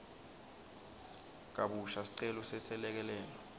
kabusha sicelo seselekelelo